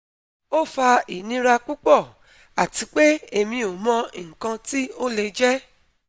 O fa inira pupo, ati pe emi o mo ikan ti o le je